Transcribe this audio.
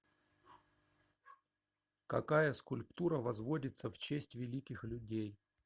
какая скульптура возводится в честь великих людей